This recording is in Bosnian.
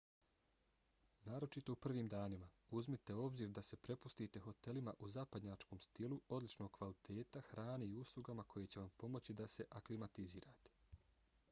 naročito u prvim danima uzmite u obzir da se prepustite hotelima u zapadnjačkom stilu odličnog kvaliteta hrani i uslugama koje će vam pomoći da se aklimatizirate